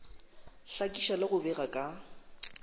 hlakiša le go bega ka